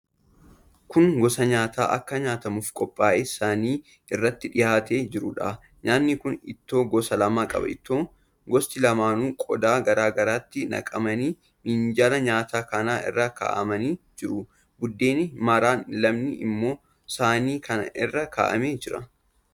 Kun gosa nyaataa akka nyaatamuuf qophaa'ee saanii irratti dhihaatee jiruudha. Nyaatni kun ittoo gosa lama qaba. Ittoon gosti lamaanuu qodaa garaa garaatti naqamanii minjaala nyaataa kana irra kaa'amanii jiru. Buddeenni maraan lamni immoo saanii kana irra kaa'amee jira.